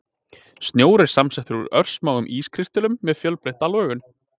Snjór er samsettur úr örsmáum ískristöllum með fjölbreytta lögun.